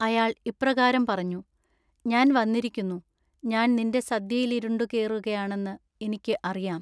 അയാൾ ഇപ്രകാരം പറഞ്ഞു;‌---ഞാൻ വന്നിരിക്കുന്നു. ഞാൻ നിന്റെ സദ്യയിലുരുണ്ടുകേറുകയാണെന്നു ഇനിക്കു അറിയാം.